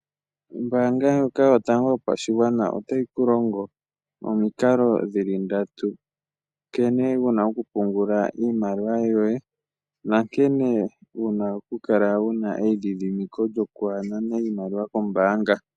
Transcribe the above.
Ombaanga ndjoka yotango yopashigwana otayi kulongo omikala dhili ndatu, nkene wuna okupungula iimaliwa yoye, nankene wuna kukala wuna eyidhidhimiko lyokwanana iimaliwa kombaanga.